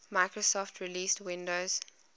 microsoft released windows